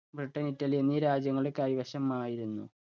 Britain, Italy എന്നീ രാജ്യങ്ങളുടെ കൈവശമായിരുന്നു.